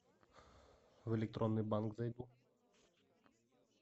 в электронный банк зайду